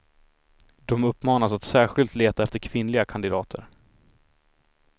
De uppmanas att särskilt leta efter kvinnliga kandidater.